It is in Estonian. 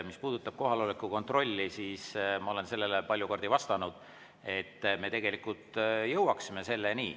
Mis puudutab kohaloleku kontrolli, siis ma olen palju kordi vastanud, et me jõuame selleni.